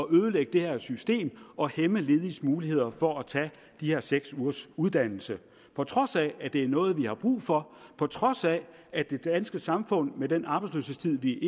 ødelægge det her system og hæmme lediges muligheder for at tage de her seks ugers uddannelse på trods af at det er noget vi har brug for på trods af at det danske samfund med den arbejdsløshedstid vi